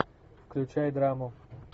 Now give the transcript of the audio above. включай драму